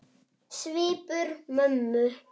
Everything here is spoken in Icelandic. Svipur mömmu